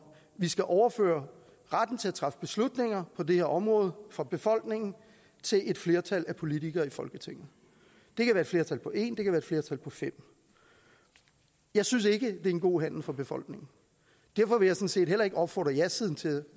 vi skal overføre retten til at træffe beslutninger på det her område fra befolkningen til et flertal af politikere i folketinget det kan være flertal på en det kan være flertal på femte jeg synes ikke at det er en god handel for befolkningen derfor vil jeg sådan set heller ikke opfordre jasiden til at